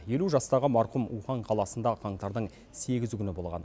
елу жастағы марқұм ухань қаласында қаңтардың сегізі күні болған